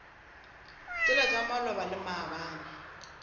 tšela tša maloba le maabane